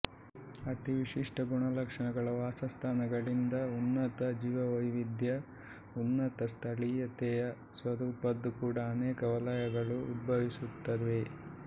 ಅತಿ ವಿಶಿಷ್ಟ ಗುಣಲಕ್ಷಣಗಳ ವಾಸಸ್ಥಾನಗಳಿಂದ ಉನ್ನತ ಜೀವವೈವಿಧ್ಯದ ಉನ್ನತ ಸ್ಥಳೀಯತೆಯ ಸ್ವರೂಪದ್ದು ಕೂಡಾ ಅನೇಕ ವಲಯಗಳು ಉದ್ಭವಿಸುತ್ತವೆ